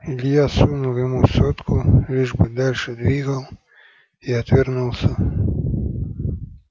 илья сунул ему сотку лишь бы дальше двигал и отвернулся